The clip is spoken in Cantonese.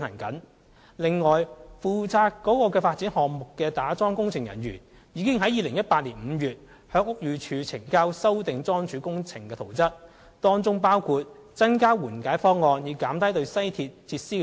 此外，負責該發展項目打樁工程的人員，已於2018年5月向屋宇署呈交經修訂的樁柱工程圖則，當中包括增加緩解方案，以減低對西鐵設施的影響。